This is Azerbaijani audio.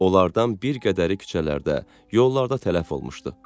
Onlardan bir qədəri küçələrdə, yollarda tələf olmuşdu.